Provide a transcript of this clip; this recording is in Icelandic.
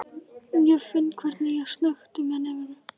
Ég finn hvernig ég snökti með nefinu.